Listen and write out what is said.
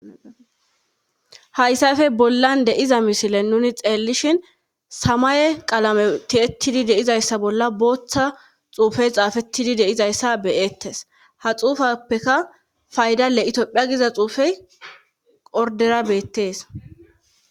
Hayssafe bollan de7iza misile nuni xeellishin samaye qalame tiyettidi de7izayssa bolla bootha xuufey xaafettidi de7izayssa be7eettees ha xuufapeka fayda le itophiya giza xuufey orddera beettees.